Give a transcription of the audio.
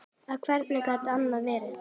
Og hvernig gat annað verið?